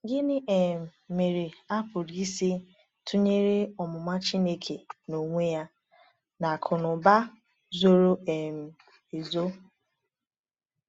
Gịnị um mere a pụrụ isi tụnyere “omụma Chineke n’onwe ya” na “akụnụba zoro um ezo”?